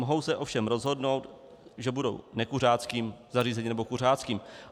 Mohou se ovšem rozhodnout, že budou nekuřáckým zařízením nebo kuřáckým.